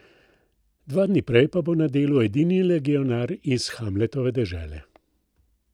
Dva dni prej pa bo na delu edini legionar iz Hamletove dežele.